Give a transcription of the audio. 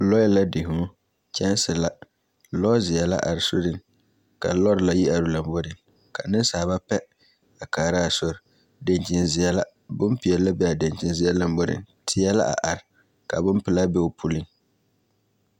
Lɔɛ la di hũũ, kyɛnse la, lɔzeɛ la are soriŋ ka lɔre la yi are lomboriŋ ka nensaaba pɛ a kaara a sori daŋkyinzeɛ la. Bompeɛle la be a daŋkyinzeɛ lamboriŋ, teɛ la a are ka bopelaa be o puliŋ